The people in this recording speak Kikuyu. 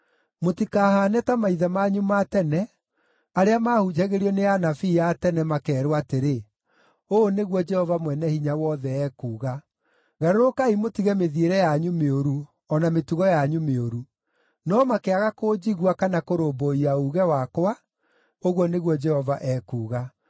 Mũtikahaane ta maithe manyu ma tene arĩa maahunjagĩrio nĩ anabii a tene, makeerwo atĩrĩ: Ũũ nĩguo Jehova Mwene-Hinya-Wothe ekuuga: ‘Garũrũkai mũtige mĩthiĩre yanyu mĩũru o na mĩtugo yanyu mĩũru.’ No makĩaga kũnjigua kana kũrũmbũiya uuge wakwa, nĩguo Jehova ekuuga.